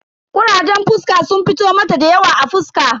Kurajen fuska sun fito mata dayawa a fuska.